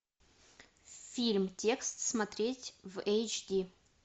фильм текст смотреть в эйч ди